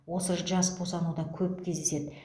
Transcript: осы жас босануда көп кездеседі